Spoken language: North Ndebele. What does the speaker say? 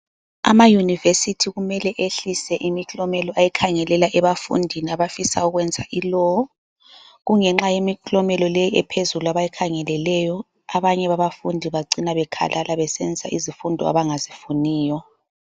Amayunivesithi kumele ehlise imiklomelo ayikhangelela ebafundini abafisa ukwenza i-Law. Kungenxa yemiklomelo le ephezulu abayikhangeleleyo, abanye babafundi bacina bekhalala besenza izifundo abangazifuniyo.